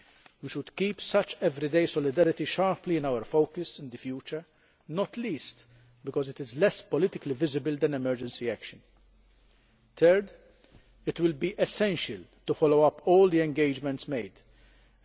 We should keep such everyday solidarity sharply in our focus in the future, not least because it is less politically visible than emergency action. Third, it will be essential to follow up all the commitments made.